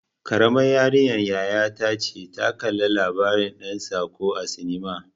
Karamar yarinyar yaya ta ce ta kalla labarin ɗan tsako a sinima.